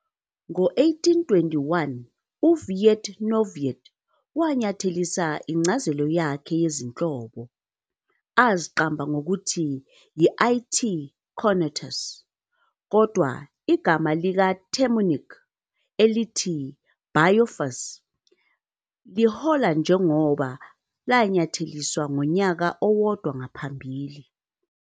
Ngo-1821, uWied-Neuwied wanyathelisa incazelo yakhe yezinhlobo, aziqamba ngokuthi y"I-T. cornutus ", kodwa igama likaTemminck elithi bilophus lihola njengoba lanyatheliswa ngonyaka owodwa ngaphambili.